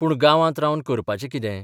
पूण गांवांत रावन करपाचें कितें?